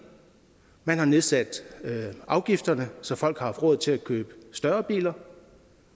man har nedsat afgifterne så folk har haft råd til at købe større biler